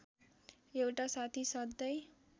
एउटा साथी सधैँ